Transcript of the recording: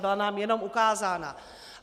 Byla nám jenom ukázána.